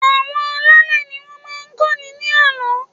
Àwọn alálẹ̀ ni wọ́n máa ń kọ́ni ní àlọ́.